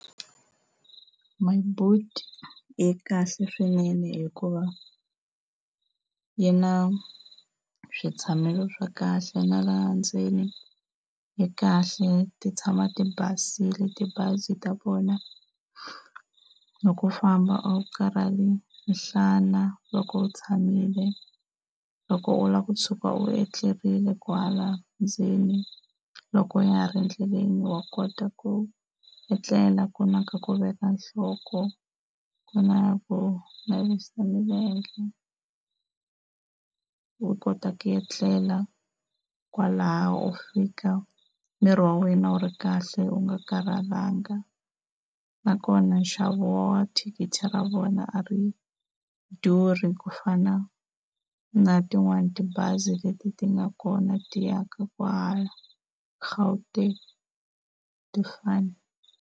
My Boet yi kahle swinene hikuva yi na switshamo swa kahle na laha ndzeni yi kahle ti tshama ti basile tibazi ta vona. Loko u famba a wu karhali nhlana loko u tshamile. Loko u lava ku tshuka u etlerile kwala ndzeni loko ya ha ri endleleni wa kota ku etlela ku na ka ku veka nhloko, ku na ko navisa milenge u kota ku etlela kwalaho u fika miri wa wena wu ri kahle u nga karhalanga. Nakona nxavo wa thikithi ra vona a ri durhi ku fana na tin'wani tibazi leti ti nga kona ti ya ka kwahala Gauteng a ti fani.